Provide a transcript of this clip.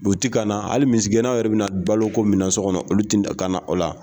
u ti ka na hali misigɛnnaw yɛrɛ bɛna balo ko min na so kɔnɔ olu ti ka na o la